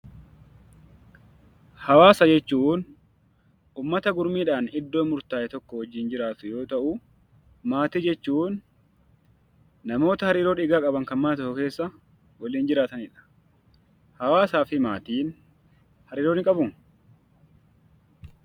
Hawaasa jechuun uummata gurmuudhaan iddoo murtaa'e tokko wajjin jiraatu yoo ta'u, maatii jechuun namoota hariiroo dhiiga qaban kan mana tokko keessa waliin jiraatanidha. Hawaasaafi maatiin hariiroo ni qabu?